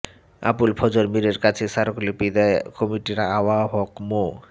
আবুল ফজর মীরের কাছে স্মারকলিপি দেয় কমিটির আহ্বায়ক মো